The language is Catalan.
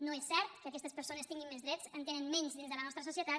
no és cert que aquestes persones tinguin més drets en tenen menys dins de la nostra societat